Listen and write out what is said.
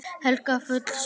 Helga: Full sátt?